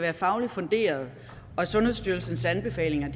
er fagligt funderet og at sundhedsstyrelsens anbefalinger